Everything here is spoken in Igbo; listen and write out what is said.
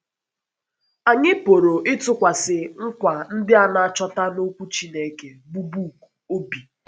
Anyị pụrụ ịtụkwasị nkwa ndị a na - achọta n’Okwu Chineke, bụ́ book, obi.